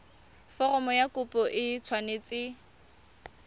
foromo ya kopo e tshwanetse